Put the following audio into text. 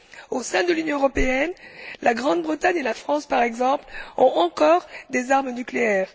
Au sein de l'Union européenne, la Grande Bretagne et la France, par exemple, ´possèdent encore des armes nucléaires.